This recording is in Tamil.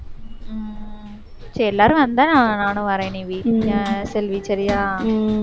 சரி எல்லாரும் வந்தா, நா~ நானும் வாரேன் நிவி ஆஹ் செல்வி சரியா,